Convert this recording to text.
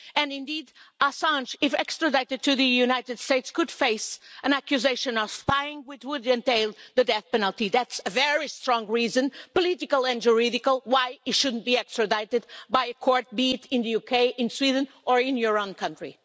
Indeed Assange, if extradited to the United States, could face an accusation of spying, which would entail the death penalty. That's a very strong reason political and juridical why he shouldn't be extradited by a court, be it in the UK, in Sweden or in your own country.